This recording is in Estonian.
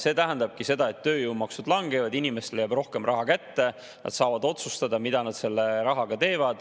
See tähendabki seda, et tööjõumaksud langevad, inimestele jääb rohkem raha kätte, nad saavad otsustada, mida nad selle rahaga teevad.